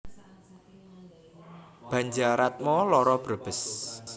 Banjaratma loro Brebes